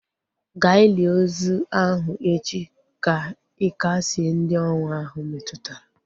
Ga ili ozi ahu echi ka ị kasịe ndị ọnwụ ahu metụtara!